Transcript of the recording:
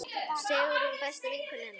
Sigrún besta vinkona hennar.